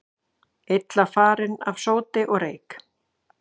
Illa farin af sóti og reyk